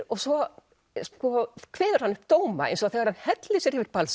og svo sko kveður hann upp dóma eins og þegar hann hellir sér yfir